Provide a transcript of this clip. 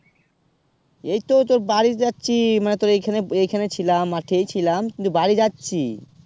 এই তো তোর বারী যাচ্ছি মানে তোর এইখানে এইখানে ছিলাম মাঠে ই ছিলাম কিন্তু বারী যাচ্ছি